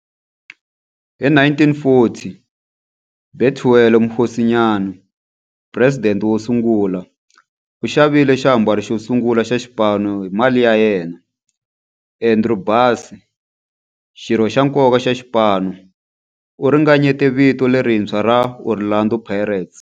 Hi 1940, Bethuel Mokgosinyane, president wosungula, u xavile xiambalo xosungula xa xipano hi mali ya yena. Andrew Bassie, xirho xa nkoka xa xipano, u ringanyete vito lerintshwa ra 'Orlando Pirates'.